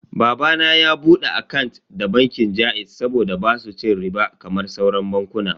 Baba na ya bude akant da bankin jaiz saboda basu cin riɓa kamar sauran bankunan.